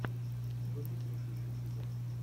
вруби треки в ютюбе